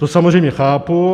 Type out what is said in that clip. To samozřejmě chápu.